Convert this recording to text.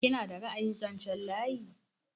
Kina da ra'ayin zanchen layi?